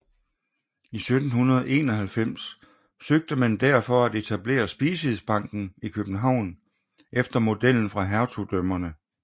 I 1791 søgte man derfor at etablere Speciesbanken i København efter modellen fra hertugdømmerne